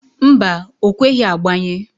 Mba, o kweghi agbanye.